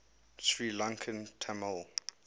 sri lankan tamil